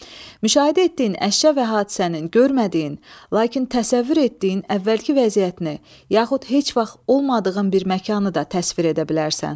Müşahidə etdiyin əşya və hadisənin görmədiyin, lakin təsəvvür etdiyin əvvəlki vəziyyətini, yaxud heç vaxt olmadığın bir məkanı da təsvir edə bilərsən.